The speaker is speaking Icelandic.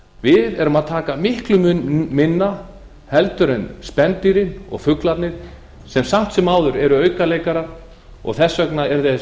við erum að taka miklum mun minna heldur en spendýrin og fuglarnir sem samt sem áður eru aukaleikarar og þess magn